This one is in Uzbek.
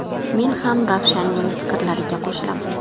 Men ham Ravshanning fikrlariga qo‘shilaman.